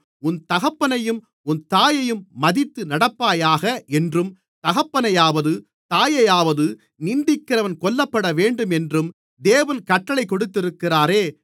உன் தகப்பனையும் உன் தாயையும் மதித்து நடப்பாயாக என்றும் தகப்பனையாவது தாயையாவது நிந்திக்கிறவன் கொல்லப்படவேண்டும் என்றும் தேவன் கட்டளை கொடுத்திருக்கிறாரே